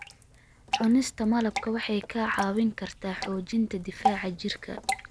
Cunista malabka waxay kaa caawin kartaa xoojinta difaaca jirka.